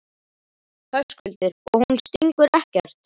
Höskuldur: Og hún stingur ekkert?